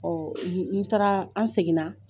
Ɔ n taara an seginna